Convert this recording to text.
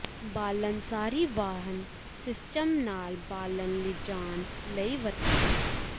ਬਾਲਣ ਸਾਰੀ ਵਾਹਨ ਸਿਸਟਮ ਨਾਲ ਬਾਲਣ ਲਿਜਾਣ ਲਈ ਵਰਤਿਆ